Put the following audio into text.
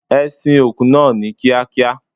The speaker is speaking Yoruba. E sin òkú naa ni Kia kia